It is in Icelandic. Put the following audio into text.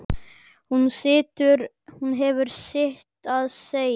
Hún hefur sitt að segja.